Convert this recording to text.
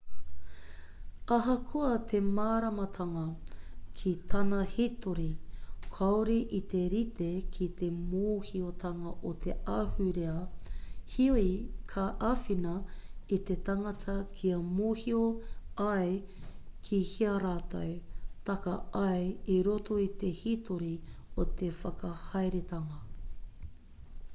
ahakoa te māramatanga ki tana hitori kāore i te rite ki te mōhiotanga o te ahurea heoi ka āwhina i te tangata kia mōhio ai kihea rātou taka ai i roto i te hītori o te whakahaeretanga